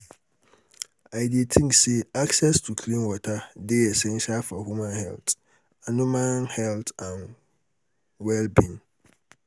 i dey think say access to clean water dey essential for human health and human health and wll-being.